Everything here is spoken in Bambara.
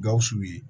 Gawusu ye